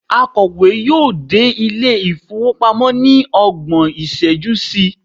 akowe yíò dé ilé ifowopamọ ni ọgbọn iṣẹju sí